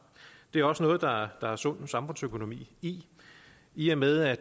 det er også noget der er der er sund samfundsøkonomi i i og med at